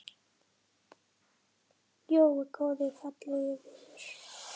Jói, góði og fallegi vinur.